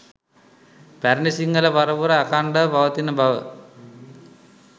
පැරණි සිංහල පරපුර අඛණ්ඩව පවතින බව